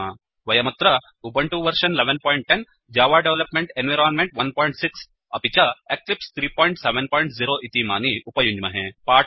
वयमत्र Ubuntu version 1110 Java development environment 16 अपि च एक्लिप्स 370 इतीमानि उपयुञ्ज्महे